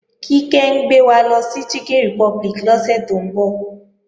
Kíkẹ́ ń gbé wa lọ sí Chicken Republic lọ́sẹ̀ tó ń bọ̀